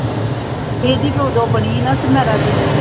ਇਹਦੀ ਤਾਂ ਉਦੋਂ ਬਣੀ ਸੀ ਨਾ ਸਨਾਰਾ ਦੀ